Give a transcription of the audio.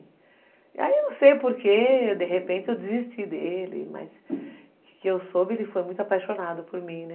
Aí eu não sei porquê, de repente eu desisti dele, mas o que eu soube, ele foi muito apaixonado por mim, né?